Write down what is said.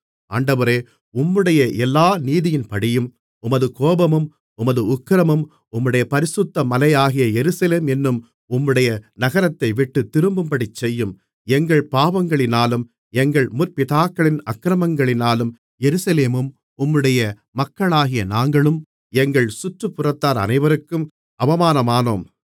ஆண்டவரே உம்முடைய எல்லா நீதியின்படியே உமது கோபமும் உமது உக்கிரமும் உம்முடைய பரிசுத்தமலையாகிய எருசலேம் என்னும் உம்முடைய நகரத்தை விட்டுத் திரும்பும்படி செய்யும் எங்கள் பாவங்களினாலும் எங்கள் முற்பிதாக்களின் அக்கிரமங்களினாலும் எருசலேமும் உம்முடைய மக்களாகிய நாங்களும் எங்கள் சுற்றுப்புறத்தார் அனைவருக்கும் அவமானமானோம்